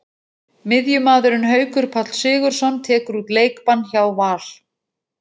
Miðjumaðurinn Haukur Páll Sigurðsson tekur út leikbann hjá Val.